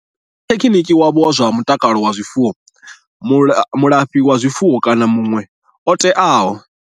Rathekhiniki wavho wa zwa mutakalo wa zwifuwo, mulafhazwifuwo kana muṋwe muthu o teaho.